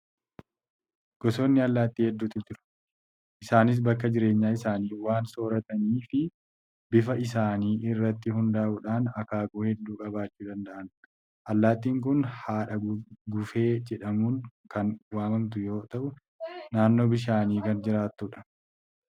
Gosoonni allaattii hedduutu jiru. Isaanis bakka jireenya isaanii, waan sooratanii fi bifa isaanii irratti hundaa'uudhaan akaakuu hedduu qabaachuu danda'an. Allaattiin kun haadha guufee jedhamuun kan waamamtu yoo ta'u, naannoo bishaanii kan jiraattudha.